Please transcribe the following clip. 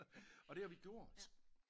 Og det har vi gjort